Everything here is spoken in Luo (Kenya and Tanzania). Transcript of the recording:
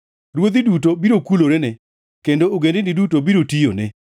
Ruodhi duto biro kulorene kendo ogendini duto biro tiyone.